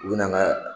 U bɛ na n'a ye